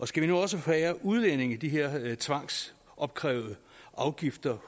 skal vi nu også forære udlændinge de her tvangsopkrævede afgifter